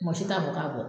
Mɔgɔ si t'a fɔ k'a bɛ bɔ